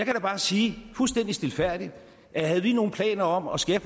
bare sige fuldstændig stilfærdigt at havde vi nogen planer om at skære